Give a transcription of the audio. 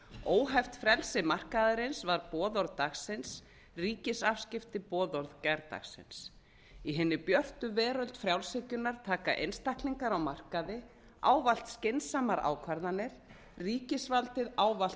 óheft frelsi markaðarins var boðorð dagsins ríkisafskipti boðorð gærdagsins í hinni björtu veröld frjálshyggjunnar taka einstaklingar á markaði ávallt skynsamar ákvarðanir ríkisvaldið ávallt